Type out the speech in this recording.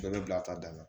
Bɛɛ bɛ bila a ta da la